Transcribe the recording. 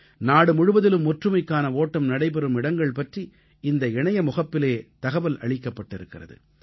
நாடுமுழுவதிலும் ஒற்றுமைக்கான ஓட்டம் நடைபெறும் இடங்கள் பற்றி இந்த இணைய முகப்பிலே தகவல் அளிக்கப்பட்டிருக்கிறது